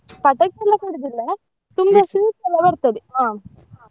ಪಟಾಕಿ ಎಲ್ಲ ಕೊಡುದಿಲ್ಲ sweets ಎಲ್ಲ ಬರ್ತದೆ ಹಾ ಹಾ.